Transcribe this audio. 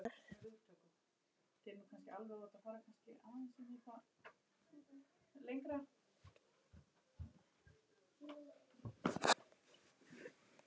Að ég sé draumur hennar.